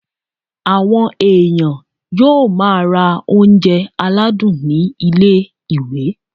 Àwọn èèyàn yóò máa ra oúnjẹ aládùn ní ilé-ìwé